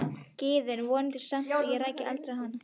Gyðu en vonaði samt að ég rækist aldrei á hana.